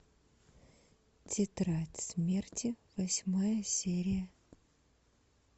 тетрадь смерти восьмая серия